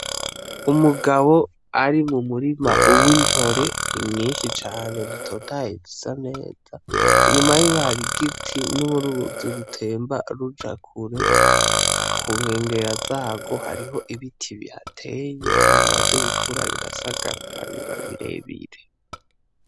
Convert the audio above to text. Umugabo ari mu murima w'intore nyishi cane zitotahaye zisa neza inyuma yiwe hari igiti n'uruzi rutemba ruja kure ku nkengera zarwo hariho ibiti bihateye bimaze gukura birasagarara biba birebire.